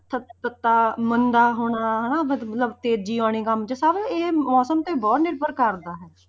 ਮੰਦਾ ਹੋਣਾ ਹਨਾ ਮਤਲਬ ਤੇਜ਼ੀ ਆਉਣੀ ਕੰਮ 'ਚ ਸਭ ਇਹ ਮੌਸਮ ਤੇ ਬਹੁਤ ਨਿਰਭਰ ਕਰਦਾ ਹੈ।